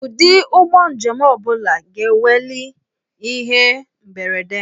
Ụdị ụgbọ njem ọ bụla ga-enweli ihe mberede.